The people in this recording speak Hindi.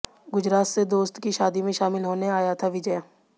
गुजरात से दोस्त की शादी में शामिल होने आया था विजय